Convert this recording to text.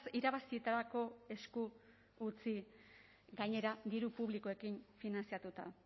irabazitarako esku utzi gainera diru publikoekin finantzatuta